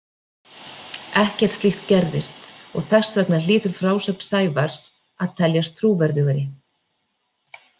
Ekkert slíkt gerðist og þess vegna hlýtur frásögn Sævars að teljast trúverðugri.